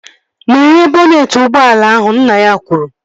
Meghee bọnetị ụgbọala ahụ! Nna ya kwuru